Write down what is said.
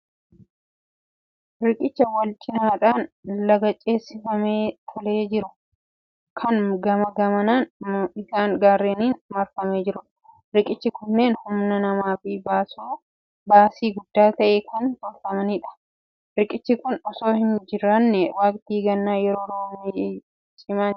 Riqicha wal-cinaadhaan laga ceesifamee tolee jiru, kan gamaa gamana isaan gaarreeniin marfamee jirudha. Riqichi kunneen humnaa namaa fi baasii guddaa ta'een kan tolfamanidha. Riqichi kun osoo hin jiraannee waqtii gannaa yeroo roobni cimu ce'uun nama rakkisa. Riqichi meeshaalee akkamiin hojjetama?